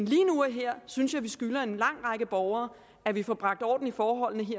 lige nu og her synes jeg at vi skylder en lang række borgere at vi får bragt orden i forholdene